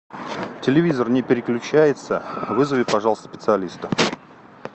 телевизор не переключается вызови пожалуйста специалиста